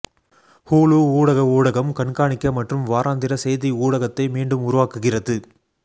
Hulu ஊடக ஊடகம் கண்காணிக்க மற்றும் வாராந்திர செய்தி ஊடகத்தை மீண்டும் உருவாக்குகிறது